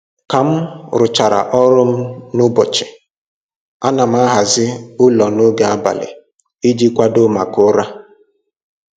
Ka m rụchara ọrụ m n'ụbọchị, ana m ahazi ụlọ n'oge abalị iji kwadoo maka ụra